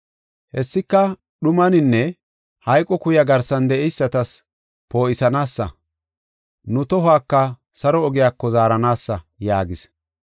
Hessika dhumaninne, hayqo kuya garsan de7eysatas poo7isanaasa, nu tohuwaka saro ogiyako zaaranaasa” yaagis.